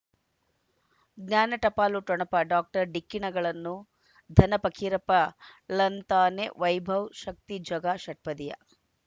ಜ್ಞಾನ ಟಪಾಲು ಠೊಣಪ ಡಾಕ್ಟರ್ ಢಿಕ್ಕಿ ಣಗಳನು ಧನ ಪಕೀರಪ್ಪ ಳಂತಾನೆ ವೈಭವ್ ಶಕ್ತಿ ಝಗಾ ಷಟ್ಪದಿಯ